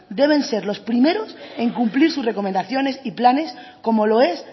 deben ser los primeros en cumplir sus recomendaciones y planes como lo es